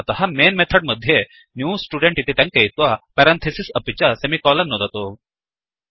अतः main method मध्ये new student इति टङ्कयित्वा पेरन्थिसिस् अपि च सेमिकोलन् नुदतु